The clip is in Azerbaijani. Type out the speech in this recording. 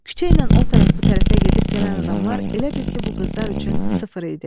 Küçəylə o tərəf, bu tərəfə gedib-gələn adamlar elə bil ki, bu qızlar üçün sıfır idi.